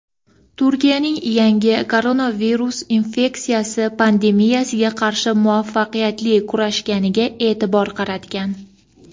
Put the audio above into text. Turkiyaning yangi koronavirus infeksiyasi pandemiyasiga qarshi muvaffaqiyatli kurashganiga e’tibor qaratgan.